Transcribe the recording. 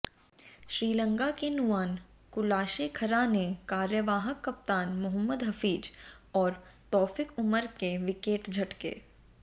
श्रीलंका के नुआन कुलाशेखरा ने कार्यवाहक कप्तान मोहम्मद हफीज और तौफिक उमर के विकेट झटके